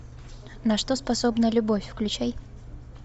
на что способна любовь включай